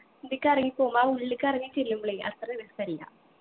ഇതിക്ക് ഇറങ്ങി പോവുമ്പൊ ആ ഉള്ളിക്ക് ഇറങ്ങി ചെല്ലുമ്പളെ അത്ര രസല്ല